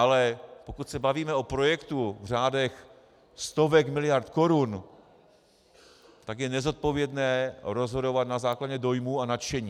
Ale pokud se bavíme o projektu v řádech stovek miliard korun, tak je nezodpovědné rozhodovat na základě dojmů a nadšení.